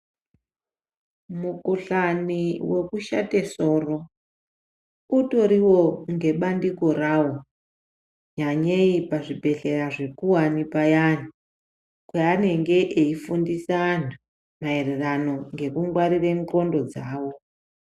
Mukhuhlani wekushate soro utoriwo ngebandiko rawo nyanyei pazvibhehlra zvekuwani payani kwaanenge eifundisa anhu maererano nekungwarire nxlondo dzawo.